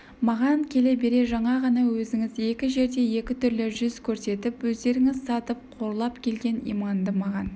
маған келе бере жаңа ғана өзіңіз екі жерде екі түрлі жүз көрсетіп өздеріңіз сатып қорлап келген иманды маған